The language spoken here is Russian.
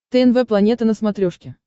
тнв планета на смотрешке